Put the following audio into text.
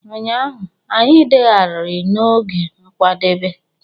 Ụnyaahụ, anyị degharịrị n'oge nkwadebe.